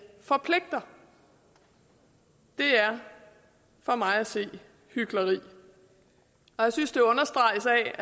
forpligter det er for mig at se hykleri og jeg synes det understreges af at